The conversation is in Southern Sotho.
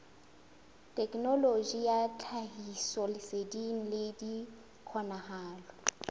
thekenoloji ya tlhahisoleseding le dikgokahano